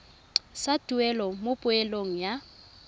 sa tuelo mo poelong ya